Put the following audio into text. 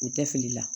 U tɛ fili la